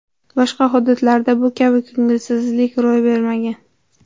Boshqa hududlarda bu kabi ko‘ngilsizlik ro‘y bermagan.